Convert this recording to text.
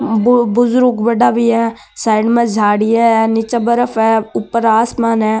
बुजुर्ग बड़ा भी है साइड में झाडिया है निचे बर्फ है ऊपर आसमान है।